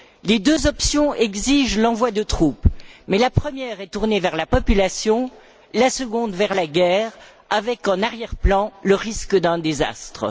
Les deux options exigent l'envoi de troupes, mais la première est tournée vers la population, la seconde vers la guerre avec, en arrière plan, le risque d'un désastre.